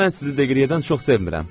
Mən sizi Deqriyədən çox sevmirəm.